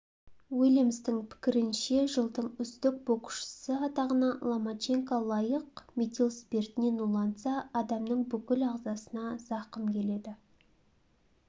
уильямстың пікірінше жылдың үздік боксшысы атағына ломаченко лайық метил спиртінен уланса адамның бүкіл ағзасына зақым келеді